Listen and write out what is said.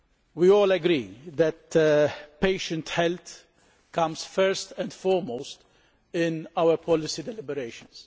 We all agree that patient health comes first and foremost in our policy deliberations.